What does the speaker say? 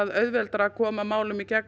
auðveldara að koma málum í gegnum